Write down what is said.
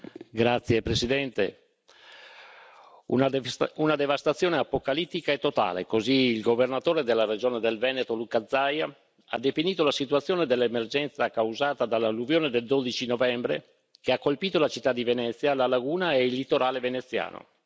Signora Presidente, onorevoli colleghi, una devastazione apocalittica e totale, così il governatore della Regione del Veneto, Luca Zaia, ha definito la situazione dell'emergenza causata dall'alluvione del 12 novembre che ha colpito la città di Venezia, la laguna e il litorale veneziano.